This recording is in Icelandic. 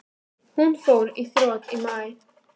Hún fór í þrot í maí.